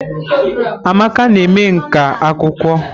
Amaka na eme nkà akwụkwọ.